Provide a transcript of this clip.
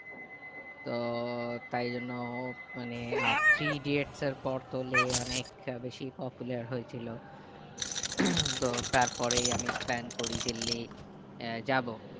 তো তাই জন্য মানে আর three idiots এর পর তো লে অনেক টা বেশি popular হয়ে ছিল তো তার পরেই আমি plan করি যে লি আহ যাবো